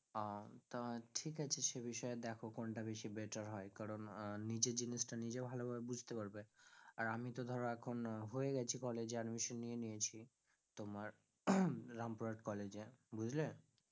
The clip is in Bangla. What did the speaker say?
আহ তা ঠিক আছে সেই বিষয় দেখো কোন টা বেশি better হয় কারণ আহ নিজের জিনিস টা নিজে ভালো করে বুঝতে পারবে আর আমি তো ধরো এখন হয়ে গেছি কলেজে admission নিয়ে নিয়েছি তোমার রামপুরহাট college এ বুঝলে?